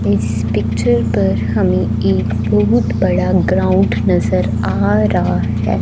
इस पिक्चर पर हमें एक बहुत बड़ा ग्राउंड नज़र आ रहा है।